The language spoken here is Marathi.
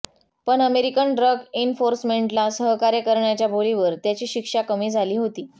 पण अमेरिकन ड्रग एन्फोर्समेन्टला सहकार्य करण्याच्या बोलीवर त्याची शिक्षा कमी झाली होती